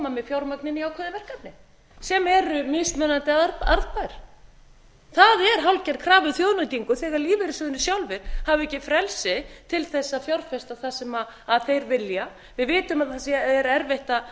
með fjármagn inn í ákveðin verkefni sem eru mismunandi arðbær það er hálfgerð krafa um þjóðnýtingu þegar lífeyrissjóðirnir sjálfir hafa ekki frelsi til þess að fjárfesta það sem þeir vilja við vitum að það er erfitt